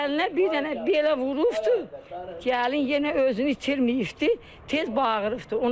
Gəlinə bir dənə belə vurubdu, gəlin yenə özünü itirməyibdi, tez bağırıbdır.